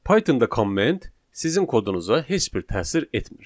Pythonda komment sizin kodunuza heç bir təsir etmir.